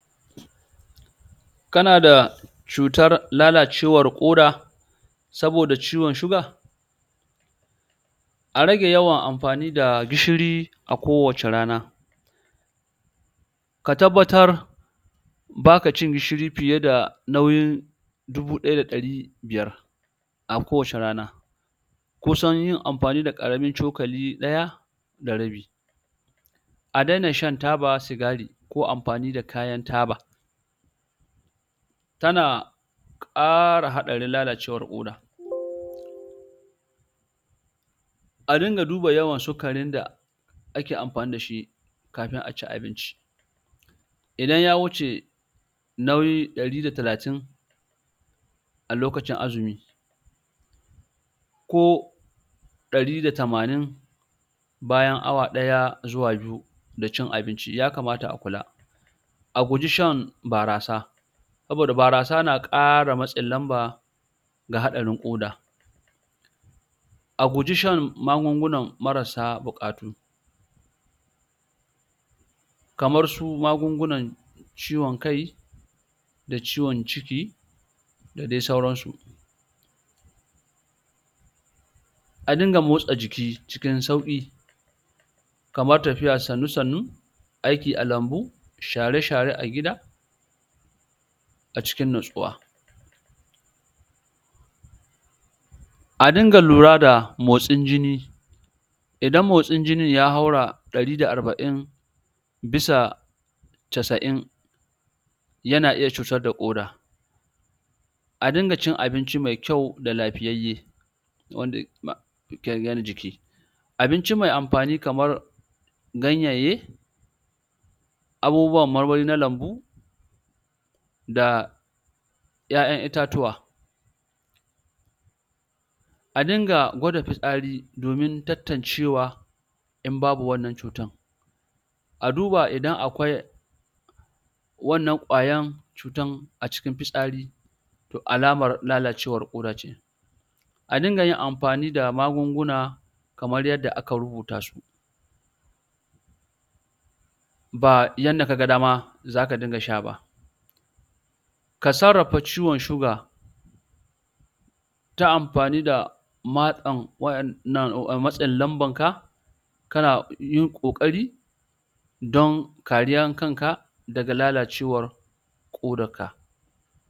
kanada cutar lalacewar ƙoda saboda ciwon sugar a rage yawan amfani da gishiri a kowace rana ka tabbatar baka cin gishiri nauyin dubu ɗaya da ɗari biyar a kowace rana kusan yin amfani da karamin cokali ɗaya da rabi a daina shan taba sigari ko amfani da kayan taba tana kara haɗarin lalcewar koda a dinga duba yawan sukarin da ake amfani dashi kafin a ci abinci idan ya wuce nauyi ɗari da talatin a lokacin azumi ko ɗari da tamanin bayan awa ɗaya zuwa biyu da cin abinci yakamata a kula a guji shan barasa saboda barasa na kara matsin lamba da haɗarin koda a guji shan magunguna marassa bukatu kamar su magungunan ciwon kai da ciwon ciki da dai sauransu a dinga motsa jiki cikin sauki kamar tafiya sannu sannu aiki a lambu share-share a gida a cikin nutsuwa a dinga lura da motsin jini idan motsin jinin ya haura ɗari da arba'in bisa casa'in yana iya cutar da koda a dinga cin abinci mai kyau da lafiyayye? abinci me amfani kamar ganyanye abubuwan marmari na lambu da ya'yan itattuwa a dinga gwada fitasari domin tantancewa in babu wannan cutar a duba idan akwai wannan kwayan cutar a cikin fitsari alamar lalacewar koda ce a dinga yin amfani da magunguna kamar yadda aka rubuta su ba yadda kaga dama zaka dinga sha ba ka sarrafa ciwon sugar ta amfani da??? ka na yin kokari don kariyar kanka daga lalacewar kodar ka